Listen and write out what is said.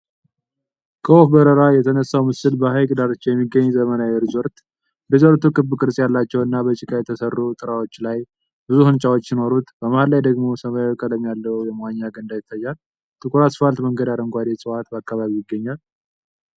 ከወፍ በረራ የተነሳው ምስል በሐይቅ ዳርቻ የሚገኝ ዘመናዊ ሪዞርት። ሪዞርቱ ክብ ቅርጽ ያላቸውና በጭቃ የተሠሩ ጣራዎች ያሉት ብዙ ሕንፃዎች ሲኖሩት፣ በመሃል ላይ ደግሞ ሰማያዊ ቀለም ያለው የመዋኛ ገንዳ ይታያል። ጥቁር አስፋልት መንገድአረንጓዴ ዕፅዋት በአካባቢው ይገኛል።